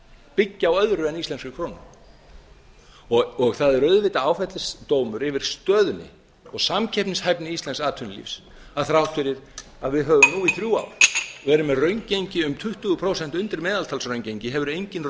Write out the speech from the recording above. byggja á öðru en íslenskri krónu og það er auðvitað áfellisdómur yfir stöðunni og samkeppnishæfni íslensks atvinnulífs að þrátt fyrir að við höfum nú á þrjú ár verið með raungengi um tuttugu prósent undir meðaltalsraungengi hefur engin